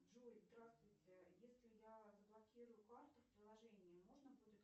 джой здравствуйте если я заблокирую карту в приложении можно будет